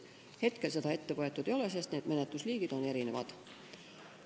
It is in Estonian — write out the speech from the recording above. Seni seda ette võetud ei ole, sest menetlusliigid on erinevad.